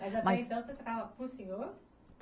Mas até então você tratava por senhor?